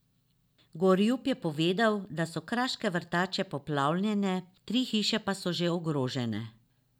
Gorjup je povedal, da so kraške vrtače poplavljene, tri hiše pa so že ogrožene.